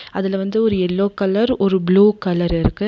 அதுல வந்து ஒரு எல்லோ கலர் ஒரு ப்ளூ கலர் இருக்கு.